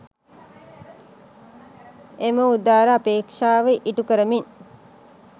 එම උදාර අපේක්ෂාව ඉටු කරමින්